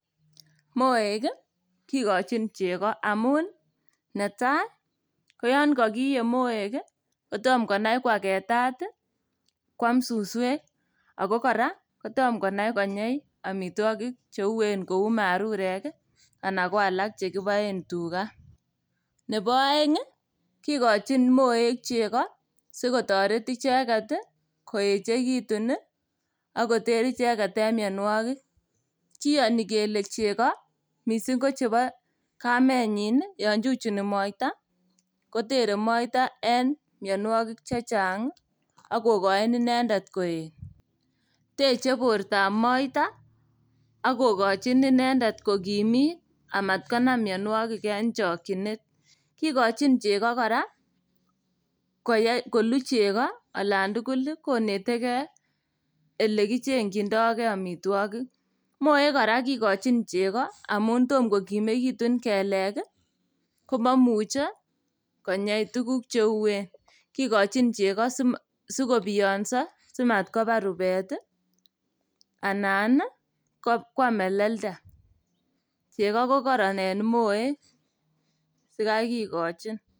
Moek ii kikochin chego amun netai ii koyon kokiyie moek kotomo konai kwagetat ii kwam suswek ago kora tom konai konyei omitwogik cheuen kou marurek ii anan koalak chekiboen tuga. Nebo oeng' ii kikochin moek chego sikotoret icheget ii koechekitun ii ak koter icheget en mionwogik. Kiyoni kele chego missing' kochebo kamenyin ii yon chuchuni moita kotere moita en mionwogiik chechang' ak kokochi inendet koet. Teche bortab moita ak kokochin inendet kokimit amatkonam mionwogik en chokyinet. Kikochin chego kora koye kolu chego olan tugul konetekei ilekichengyindokei omitwogik. Moek kora kikochin chego amun tom kokimekitun kelek ii komomuche tuguk cheuen, kikochin chego sigobionso komatkobar rubet ii anan ii kwam melelda. Chego kokororon en moek sikai kikochin.